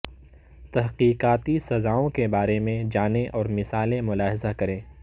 تحقیقاتی سزاوں کے بارے میں جانیں اور مثالیں ملاحظہ کریں